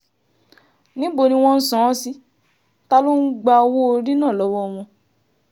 níbo ni wọ́n ń san án sí ta ló ń gba owó-orí náà lọ́wọ́ wọn